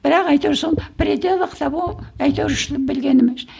бірақ әйтеуір сол в пределах того әйтеуір